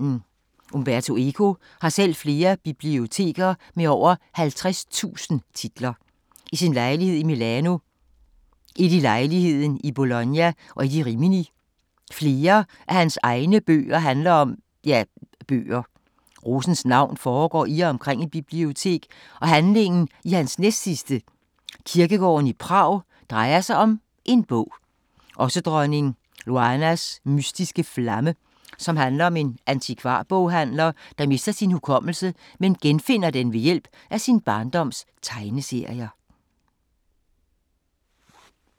Umberto Eco har selv flere biblioteker med over 50.000 titler. Et i sin lejlighed i Milano, et i lejligheden i Bologna og et i Rimini. Flere af hans egne bøger handler om … ja, bøger. Rosens navn foregår i og omkring et bibliotek og handlingen i hans næstsidste, Kirkegården i Prag, drejer sig om en bog. Også "Dronning Loanas mystiske flamme", som handler om en antikvarboghandler, der mister sin hukommelse, men genfinder den ved hjælp af sin barndoms tegneserier.